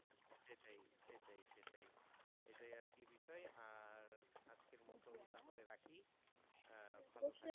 সেটাই সেটাই এটাই আর কি বিষয় আর আজকের মতন তাহলে রাখি ভালো থাকবেন